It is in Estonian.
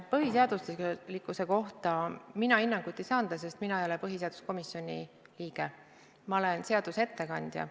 Põhiseaduslikkuse kohta mina hinnangut ei saa anda, sest mina ei ole põhiseaduskomisjoni liige, ma olen seaduseelnõu ettekandja.